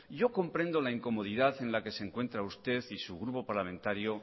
yo comprendo la incomodidad en la que se encuentra usted y su grupo parlamentario